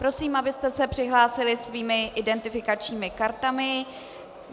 Prosím, abyste se přihlásili svými identifikačními kartami.